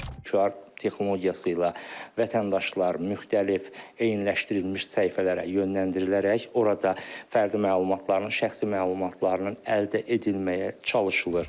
QR texnologiyası ilə vətəndaşlar müxtəlif eyniləşdirilmiş səhifələrə yönləndirilərək orada fərdi məlumatlarının, şəxsi məlumatlarının əldə edilməyə çalışılır.